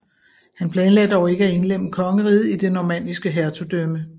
Han planlagde dog ikke at indlemme kongeriget i det normanniske hertugdømme